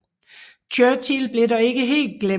Churchill blev dog ikke helt glemt